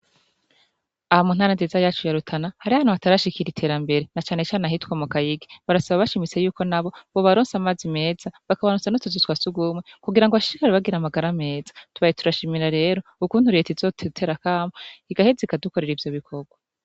Aha mu ntara nziza yacu ya Rutana hariho ahantu hatarashikira iterambere, na canecane ahitwa mu Kayigi. Barasaba bashimitse yuko n'abo bobaronsa amazi meza, bakabaronsa n'utuzu twa surwumwe, kugira ngo bashishikare bagira amagara meza. Tubaye turashimira rero ukuntu leta izodutera akamo, igaheza ikadukorera ivyo bikorwa.